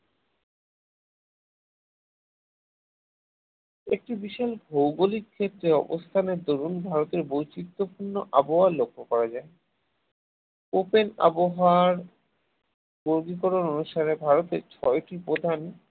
একটি বিশেষ ভৌগলিক ক্ষেত্রে অবস্থানের দরুণ ভারতে বৈচিত্রপূর্ণ আবহাওয়া লক্ষ্য করা যায় open আবহাওয়ার ভৌগলিক অনুসারে অনুসারে ভারতের ছয়টি প্রধান।